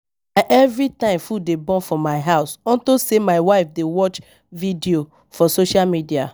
Everytime food dey burn for my house unto say my wife dey watch videos for social media